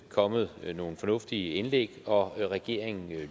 kommet nogle fornuftige indlæg og regeringen